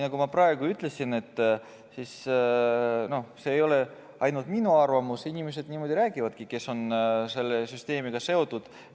Nagu ma ütlesin, see ei ole ainult minu arvamus, niimoodi räägivad inimesed, kes on selle süsteemiga seotud.